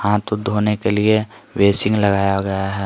हाथ धोने के लिए वेसिन लगाया गया है।